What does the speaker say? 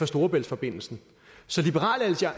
storebæltsforbindelsen så liberal